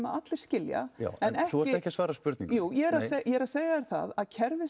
allir skilja þú ert ekki að svara spurningunni jú ég er að segja þér það að kerfið